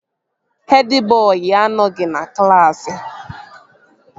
Hed bọị anọghị na klaasị